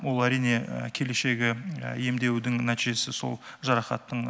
ол әрине келешегі емдеудің нәтижесі сол жарақаттың